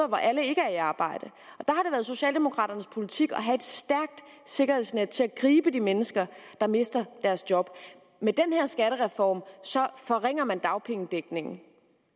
hvor alle ikke er i arbejde og socialdemokraternes politik at have et stærkt sikkerhedsnet til at gribe de mennesker der mister deres job med den her skattereform forringer man dagpengedækningen